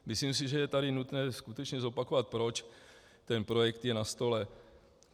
Myslím si, že je tady nutné skutečně zopakovat, proč ten projekt je na stole.